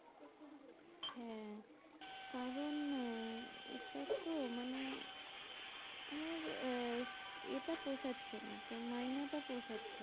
হ্যাঁ, কারণ আহ এটা তো মানে আমার আহ এটা পোষাচ্ছে না মাইনে টা পোষাচ্ছে,